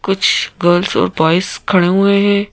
कुछ गर्ल्स और बॉयज खड़े हुए है।